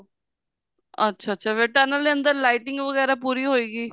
ਅੱਛਾ ਅੱਛਾ ਫੇਰ tunnel ਦੇ ਅੰਦਰ lighting ਵਗੈਰਾ ਪੂਰੀ ਹੋਏਗੀ